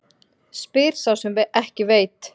Spyr sá sem ekki veit.